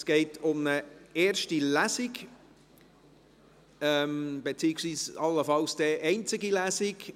Es geht um eine erste Lesung, beziehungsweise allenfalls um eine einzige Lesung.